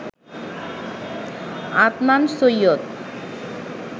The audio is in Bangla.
আদনান সৈয়দ